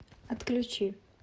отключи